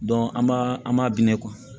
an b'a an b'a biyɛn